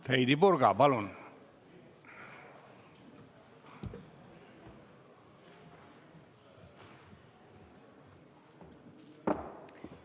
Heidy Purga, palun!